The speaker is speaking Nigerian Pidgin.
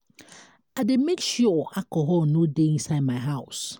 i dey make sure alcohol no dey inside my house